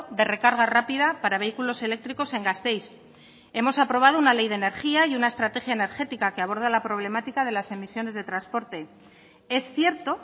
de recarga rápida para vehículos eléctricos en gasteiz hemos aprobado una ley de energía y una estrategia energética que aborda la problemática de las emisiones de transporte es cierto